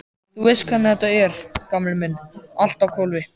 Þú veist hvernig þetta er, gamli minn, allt á hvolfi.